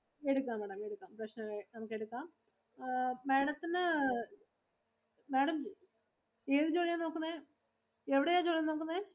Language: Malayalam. എടുക്കാം Maám എടുക്കാം പ്രശനം ഒന്നും ഇല്ല. നമുക്ക് എടുക്കാം. Madam ത്തിനു Madam ഏതു ജോലിയാ നോക്കുന്നെ എവിടെയാ ജോലി നോക്കുന്നെ.